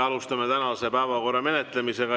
Alustame tänaste päevakorrapunktide menetlemist.